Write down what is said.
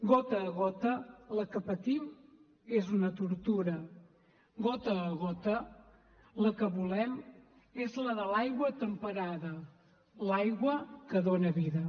gota a gota la que patim és una tortura gota a gota la que volem és la de l’aigua temperada l’aigua que dona vida